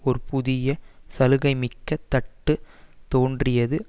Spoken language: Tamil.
ஒரு புதிய சலுகைமிக்க தட்டு தோன்றியது